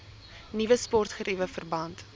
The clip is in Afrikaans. nuwe sportgeriewe verband